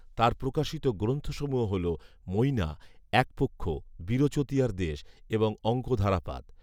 তাঁর প্ৰকাশিত গ্রন্থসমূহ হল মইনা, একপক্ষ, বিরচতীয়ার দেশ এবং অঙ্ক ধারাপাত